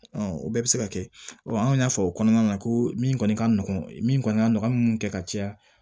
o bɛɛ bɛ se ka kɛ an y'a fɔ o kɔnɔna na ko min kɔni ka nɔgɔn min kɔni ka nɔgɔn an bɛ mun kɛ ka caya